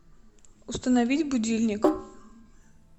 установить будильник